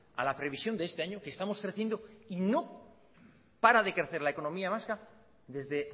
a la previsión de este año que estamos creciendo y no para de crecer la economía vasca desde